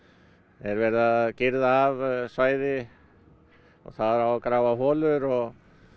er verið að girða af svæði og þar á að grafa holur og